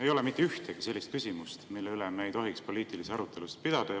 Ei ole mitte ühtegi sellist küsimust, mille üle me ei tohiks poliitilisi arutelusid pidada.